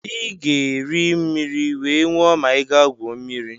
ị ga-eri mmiri wee nwụọ ma ị gaa gwuo mmiri